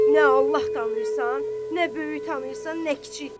Nə Allah tanıyırsan, nə böyük tanıyırsan, nə kiçik.